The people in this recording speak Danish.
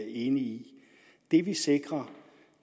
enig i det vi sikrer